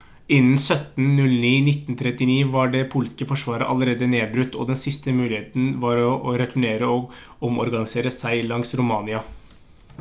innen 17.09.1939 var det polske forsvaret allerede nedbrutt og den siste muligheten var å returnere og omorganisere seg langs romania